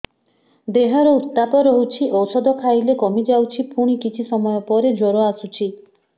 ଦେହର ଉତ୍ତାପ ରହୁଛି ଔଷଧ ଖାଇଲେ କମିଯାଉଛି ପୁଣି କିଛି ସମୟ ପରେ ଜ୍ୱର ଆସୁଛି